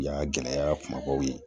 Y'a gɛlɛya kumabaw ye